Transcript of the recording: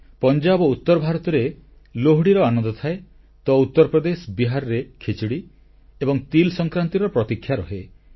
ପଞ୍ଜାବ ଓ ଉତ୍ତର ଭାରତରେ ଲୋହଡ଼ୀର ଆନନ୍ଦ ଥାଏ ତ ଉତ୍ତର ପ୍ରଦେଶ ବିହାରରେ ଖିଚଡ଼ୀ ଏବଂ ତିଲ୍ ସଂକ୍ରାନ୍ତିର ପ୍ରତୀକ୍ଷା ରହେ